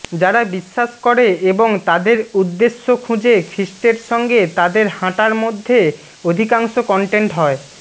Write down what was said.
যারা বিশ্বাস করে এবং তাদের উদ্দেশ্য খুঁজে খ্রীষ্টের সঙ্গে তাদের হাঁটার মধ্যে অধিকাংশ কন্টেন্ট হয়